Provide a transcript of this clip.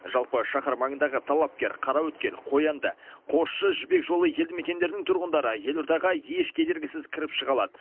жалпы шаһар маңындағы талапкер қараөткел қоянды қосшы жібек жолы елді мекендерінің тұрғындары елордаға еш кедергісіз кіріп шыға алады